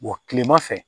kilema fɛ